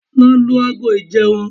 Lọ lu ago ìjẹun!